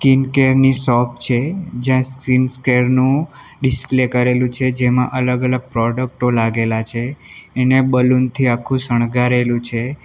Skin care ની shop છે જ્યાં સ્કીન્સ કેર નું ડિસ્પ્લે કરેલું છે જેમાં અલગ અલગ પ્રોડક્ટો લાગેલા છે એને બલૂન થી આખું શણગારેલું છે.